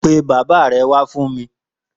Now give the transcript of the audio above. Pé bàbá rè wà fún mi